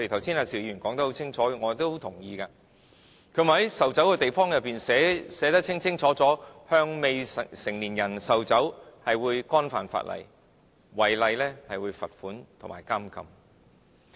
邵議員說得很清楚，我亦都很同意，他說應在售酒的地方內，寫明向未成年人售酒是犯法的，違例者會被罰款及監禁。